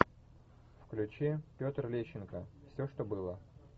включи петр лещенко все что было